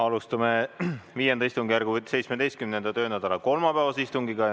Alustame V istungjärgu 17. töönädala kolmapäevast istungit.